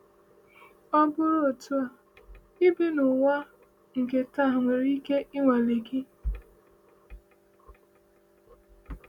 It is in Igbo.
Ọ bụrụ otu a, ibi n’ụwa nke taa nwere ike ịnwale gị.